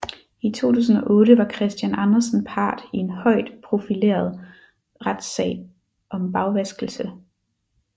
I 2008 var Christian Andersen part i en højt profileret retssag om bagvaskelse